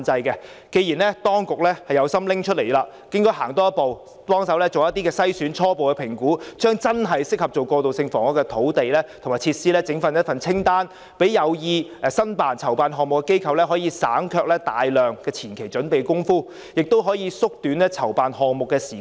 既然當局有心撥出土地，便應多走一步，協助進行篩選及初步評估，把真正適合用作過渡性房屋的土地和設施整理成一份清單，讓有意籌辦項目的機構省卻大量前期準備工夫，亦可縮短籌辦項目的時間。